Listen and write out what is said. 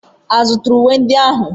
A zụtara uwe ndị ahụ?